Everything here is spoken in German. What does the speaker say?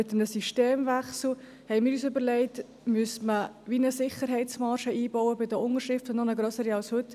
Wir haben uns überlegt, dass man bei einem Systemwechsel eine Sicherheitsmarge beim Unterschriftensammeln einbauen müsste – eine noch grössere als heute.